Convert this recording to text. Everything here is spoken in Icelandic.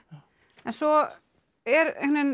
en svo er